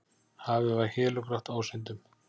Hafið var hélugrátt ásýndum.